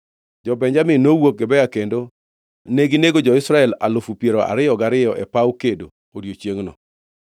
Jo-Benjamin nowuok Gibea kendo neginego jo-Israel alufu piero ariyo gariyo e paw kedo odiechiengno.